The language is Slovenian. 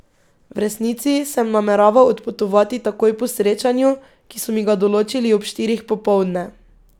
V resnici sem nameraval odpotovati takoj po srečanju, ki so mi ga določili ob štirih popoldne.